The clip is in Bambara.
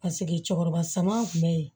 Paseke cɛkɔrɔba saman kun bɛ yen